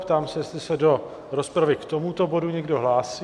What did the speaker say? Ptám se, jestli se do rozpravy k tomuto bodu někdo hlásí?